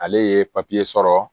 Ale ye papiye sɔrɔ